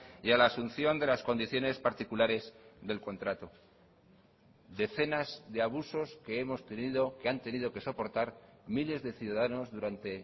y a la asunción de las condiciones particulares del contrato decenas de abusos que hemos tenido que han tenido que soportar miles de ciudadanos durante